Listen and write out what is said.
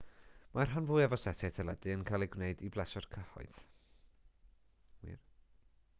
mae'r rhan fwyaf o setiau teledu yn cael eu gwneud i blesio'r cyhoedd